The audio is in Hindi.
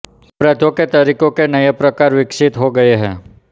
अपराधों के तरीकों के नये प्रकार विकसित हो गये हैं